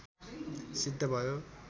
सिद्ध भयो